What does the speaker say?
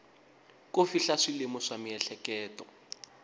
ko fihla swilemu swa miehleketo